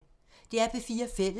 DR P4 Fælles